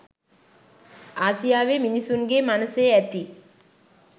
ආසියාවේ මිනිසුන්ගේ මනසේ ඇති